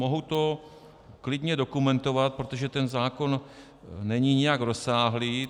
Mohu to klidně dokumentovat, protože ten zákon není nijak rozsáhlý.